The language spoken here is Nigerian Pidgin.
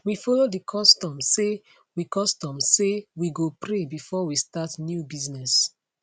we follow the custom say we custom say we go pray before we start new business